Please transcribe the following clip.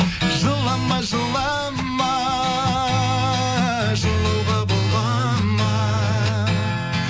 жылама жылама жылауға бола ма